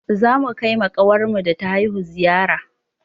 Za mu kai ma ƙawarmu da ta haihu ziyara